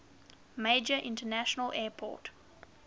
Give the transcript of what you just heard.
major international airport